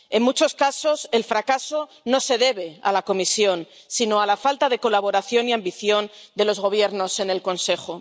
En muchos casos, el fracaso no se debe a la Comisión, sino a la falta de colaboración y ambición de los gobiernos en el Consejo.